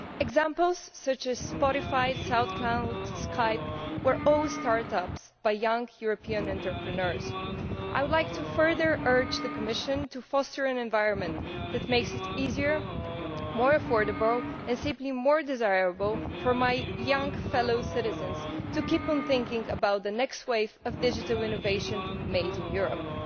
Examples such as Spotify, the South Cloud and Skype were all start ups by young European entrepreneurs. I would like to further urge the Commission to foster an environment that makes it easier, more affordable and simply more desirable for my young fellow citizens to keep on thinking about the next wave of digital innovation made in Europe'.